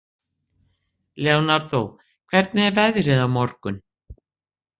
Leonardo, hvernig er veðrið á morgun?